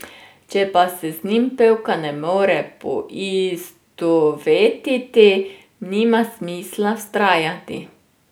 Če pa se z njim pevka ne more poistovetiti, nima smisla vztrajati.